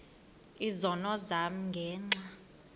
izono zam ngenxa